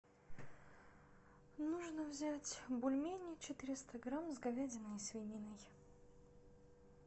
нужно взять бульмени четыреста грамм с говядиной и свининой